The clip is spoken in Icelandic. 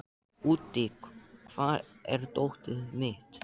Úddi, hvar er dótið mitt?